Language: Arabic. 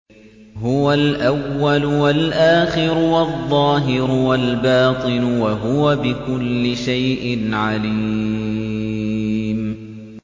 هُوَ الْأَوَّلُ وَالْآخِرُ وَالظَّاهِرُ وَالْبَاطِنُ ۖ وَهُوَ بِكُلِّ شَيْءٍ عَلِيمٌ